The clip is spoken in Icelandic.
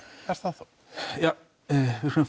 er það ef við